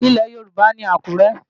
Ilẹ̀ Yorùbá ni Àkúrẹ́.